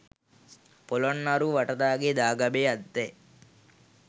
පොළොන්නරුව වටදාගේ දාගැබේ ඇත්තේ